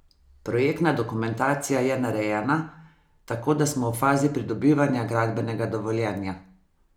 Projektna dokumentacija je narejena, tako da smo v fazi pridobivanja gradbenega dovoljenja.